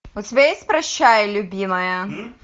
у тебя есть прощай любимая